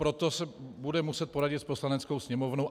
Proto se bude muset poradit s Poslaneckou sněmovnou.